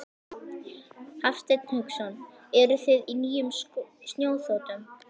Hafsteinn Hauksson: Eruði á nýjum snjóþotum?